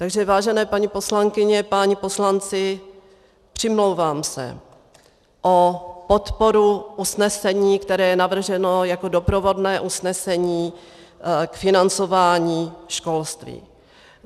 Takže vážené paní poslankyně, páni poslanci, přimlouvám se o podporu usnesení, které je navrženo jako doprovodné usnesení k financování školství.